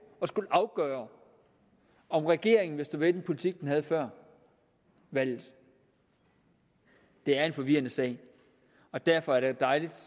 at skulle afgøre om regeringen vil stå ved den politik den havde før valget det er en forvirrende sag og derfor er det dejligt